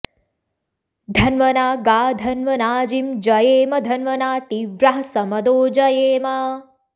धन्व॑ना॒ गा धन्व॑ना॒जिं ज॑येम॒ धन्व॑ना ती॒व्राः स॒मदो॑ जयेम